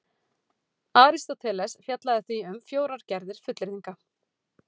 Aristóteles fjallaði því um fjórar gerðir fullyrðinga: